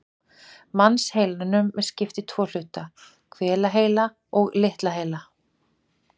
Mannsheilanum er skipt í tvo hluta, hvelaheila og litla heila.